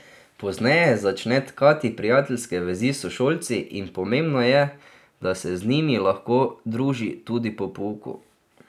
Pozneje začne tkati prijateljske vezi s sošolci in pomembno je, da se z njimi lahko druži tudi po pouku.